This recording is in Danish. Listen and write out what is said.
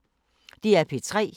DR P3